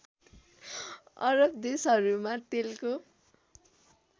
अरब देशहरूमा तेलको